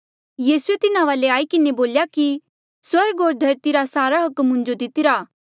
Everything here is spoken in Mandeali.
यीसूए तिन्हा वाले आई किन्हें बोल्या कि स्वर्ग होर धरती रा सारा अधिकार मुंजो दितिरा